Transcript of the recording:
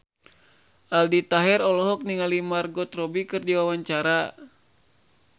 Aldi Taher olohok ningali Margot Robbie keur diwawancara